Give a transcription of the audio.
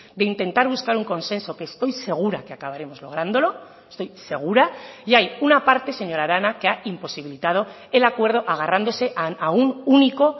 de intentar buscar un consenso que estoy segura que acabaremos lográndolo estoy segura y hay una parte señora arana que ha imposibilitado el acuerdo agarrándose a un único